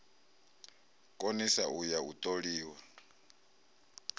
konisa u ya u toliwa